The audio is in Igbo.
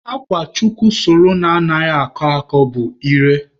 Akwa chukwu sụrụ na anaghị akọ akọ bụ Ire.